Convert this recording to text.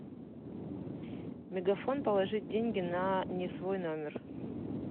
мегафон положить деньги на не свой номер